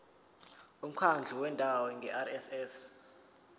umkhandlu wendawo ngerss